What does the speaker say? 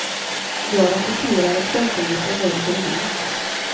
Jag rapporterar exempelvis om väder och vind.